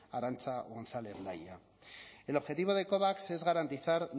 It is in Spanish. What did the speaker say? arancha gonzález laya el objetivo de covax es garantizar